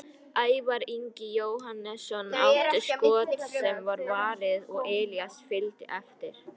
Ævar Ingi Jóhannesson átti skot sem var varið og Elías fylgdi eftir.